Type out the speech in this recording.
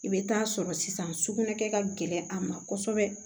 I bɛ taa sɔrɔ sisan sugunɛ kɛ ka gɛlɛn a ma kosɛbɛ